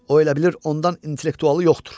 O elə bilir ondan intellektualı yoxdur.